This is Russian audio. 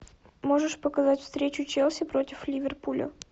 можешь показать встречу челси против ливерпуля